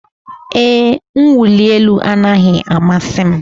Ee, mwụli elu anaghị amasị m.